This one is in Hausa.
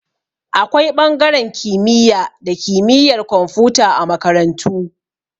Akwai ɓangaren kimiyya da kimiyar komfuta a makarantu